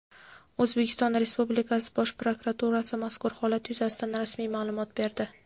O‘zbekiston Respublikasi Bosh prokuraturasi mazkur holat yuzasidan rasmiy ma’lumot berdi.